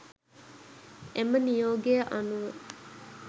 එම නියෝගය අනුව